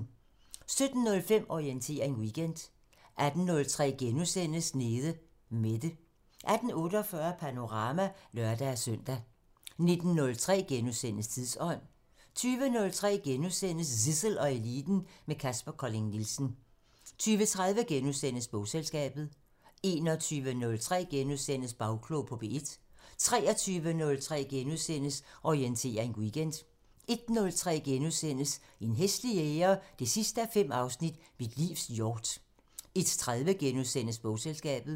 17:05: Orientering Weekend 18:03: Nede Mette * 18:48: Panorama (lør-søn) 19:03: Tidsånd * 20:03: Zissel og Eliten: Med Kaspar Colling Nielsen * 20:30: Bogselskabet * 21:03: Bagklog på P1 * 23:03: Orientering Weekend * 01:03: En hæslig jæger 5:5 – Mit livs hjort * 01:30: Bogselskabet *